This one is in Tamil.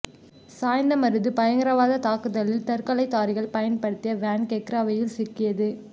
சாய்ந்தமருது பயங்கரவாத தாக்குதலில் தற்கொலை தாரிகள் பயன்படுத்திய வேன் கெக்கிராவையில் சிக்கியது